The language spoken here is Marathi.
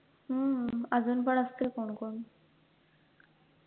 हम्म अजून पण असतील कोण कोण